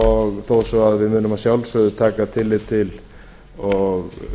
og þó svo að við munum að sjálfsögðu taka tillit til og